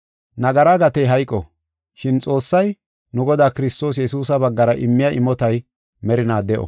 Nagara gatey hayqo. Shin Xoossay, nu Godaa Kiristoos Yesuusa baggara immiya imotay merinaa de7o.